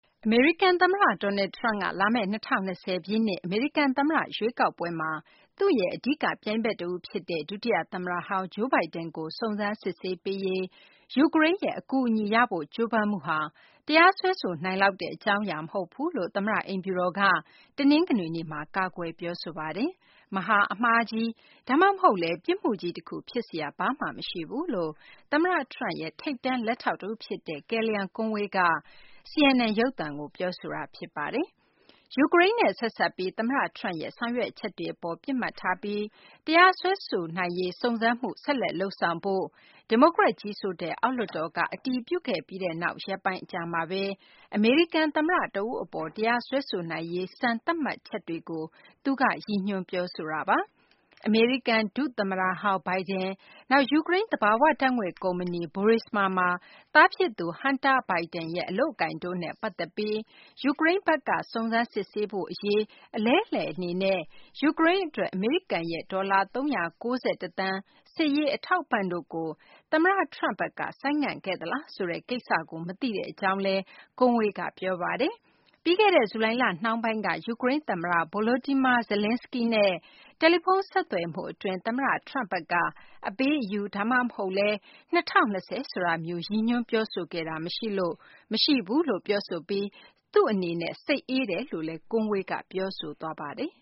အမေရိကန်သမ္မတ Donald Trump က လာမယ့် ၂၀၂၀ ပြည့်နှစ် အမေရိကန်သမ္မတ ရွေးကောက်ပွဲမှာ သူ့ရဲ့ အဓိကပြိုင်ဘက်တဦးဖြစ်တဲ့ ဒုတိယသမ္မတဟောင်း Joe Biden ကို စုံစမ်းစစ်ဆေးပေးရေး ယူကရိန်းရဲ့ အကူအညီရဖို့ ကြိုးပမ်းမှုဟာ တရားစွဲဆိုနိုင်လောက်တဲ့ အကြောင်းအရာ မဟုတ်ဘူးလို့ သမ္မတ အိမ်ဖြူတော်က တနင်္ဂနွေနေ့မှာ ကာကွယ် ပြောဆိုလိုက်ပါတယ်။ မဟာအမှားကြီး ဒါမှမဟုတ်လည်း ပြစ်မှုကြီးတခု ဖြစ်စရာ ဘာမှမရှိဘူးလို့ သမ္မတ Trump ရဲ့ ထိပ်တန်း လက်ထောက်တဦးဖြစ်တဲ့ Kellyanne Conway က CNN ရုပ်သံကို ပြောဆိုသွားတာ ဖြစ်ပါတယ်။ ယူကရိန်းနဲ့ ဆက်စပ်ပြီး သမ္မတ Trump ရဲ့ ဆောင်ရွက်ချက်တွေအပေါ် ပစ်မှတ်ထားပြီး တရားစွဲဆိုနိုင်ရေး စုံစမ်းမှု ဆက်လက်လုပ်ဆောင်ဖို့ ဒီမိုကရက် ကြီးစိုးတဲ့ အောက်လွှတ်တော်က အတည်ပြုခဲ့ပြီးနောက် ရက်ပိုင်းအကြာမှာပဲ အမေရိကန်သမ္မတ တဦးအပေါ် တရားစွဲဆိုနိုင်ရေး စံသတ်မှတ်ချက်တွေကို သူက ရည်ညွှန်း ပြောဆိုခဲ့တာပါ။ အမေရိကန် ဒုသမ္မတဟောင်း Biden၊ နောက် ယူကရိန်း သဘာဝဓာတ်ငွေ့ ကုမ္ပဏီ Burisma မှာ သားဖြစ်သူ Hunter Biden ရဲ့ အလုပ်အကိုင်တို့နဲ့ ပတ်သက်ပြီး ယူကရိန်းဘက်က စုံစမ်းစစ်ဆေးဖို့အရေး အလဲအလှယ်အနေနဲ့ ယူကရိန်းအတွက် အမေရိကန်ရဲ့ ဒေါ်လာ ၃၉၁ သန်း စစ်ရေးအထောက်အပံ့တို့ကို သမ္မတ Trump ဘက်က ဆိုင်းငံ့ခဲ့သလားဆိုတဲ့ ကိစ္စကို မသိကြောင်းလည်း Conway က ပြောပါတယ်။ ပြီးခဲ့တဲ့ ဇူလိုင်လ နှောင်းပိုင်းက ယူကရိန်းသမ္မတ Volodymyr Zelenskiy နဲ့ တယ်လီဖုန်း ဆက်သွယ်မှုအတွင်း သမ္မတ Trump ဘက်က အပေးအယူ ဒါမှမဟုတ်လည်း ၂၀၂၀ ဆိုတာမျိုး ရည်ညွှန်းပြောဆိုခဲ့တာ မရှိဘူးလို့ ပြောဆိုပြီး သူ့အနေနဲ့ စိတ်အေးတယ်လို့လည်း Conway က ပြောဆိုသွားပါတယ်